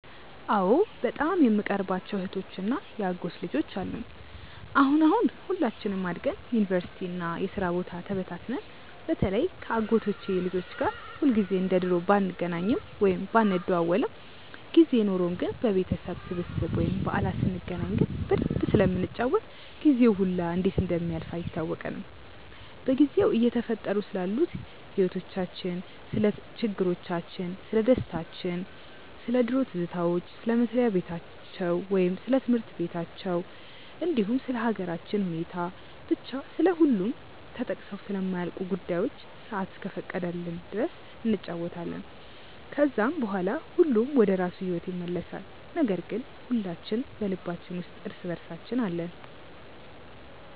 አዎ በጣም የምቀርባቸው እህቶች እና የአጎት ልጆች አሉኝ። አሁን አሁን ሁላችንም አድገን ዩኒቨርሲቲ እና የስራ ቦታ ተበታትነን በተለይ ከ አጎቶቼ ልጆች ጋር ሁልጊዜ እንደ ድሮ ባንገናኝም ወይም ባንደዋወልም ጊዜ ኖርን ግን በቤተሰብ ስብስብ ወይም በዓላት ስንገናኝ ግን በደንብ ስለምንጫወት ጊዜው ሁላ እንዴት እንደሚያልፍ አይታወቀንም። በጊዜው እየተፈጠሩ ስላሉት ህይወቲቻችን፣ ስለ ችግሮቻችን፣ ስለደስታችን፣ ስለ ድሮ ትዝታዎች፣ ስለ መስሪያ በታቸው ወይም ስለ ትምህርት በታችን እንዲሁም ስለ ሃገራችን ሁኔታ፤ ብቻ ስለሁሉም ተጠቅሰው ስለማያልቁ ጉዳዮች ሰአት እስከፈቀደችልን ድረስ እንጫወታለን። ከዛም በኋላ ሁሉም ወደራሱ ሂዎት ይመለሳል ነገር ግን ሁላችን በልባችን ውስጥ እርስ በእርሳችን አለን።